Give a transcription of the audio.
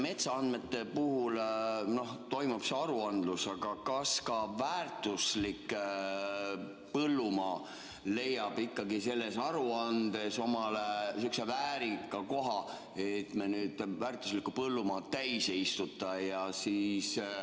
Metsaandmete puhul toimub see aruandlus, aga kas ka väärtuslik põllumaa leiab ikkagi selles aruandes omale väärika koha, et me väärtuslikku põllumaad täis ei istuta?